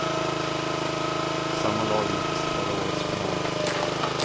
Sammma lag möttes i förra årets final.